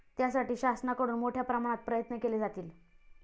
त्यासाठी शासनाकडून मोठ्या प्रमाणात प्रयत्न केले जातील.